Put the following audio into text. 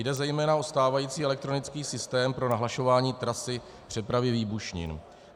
Jde zejména o stávající elektronický systém pro nahlašování trasy přepravy výbušnin.